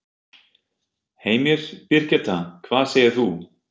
Heimir: Birgitta, hvað segir þú?